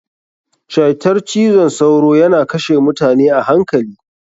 Cytar cizon sauro yana kashe mutane a hankali.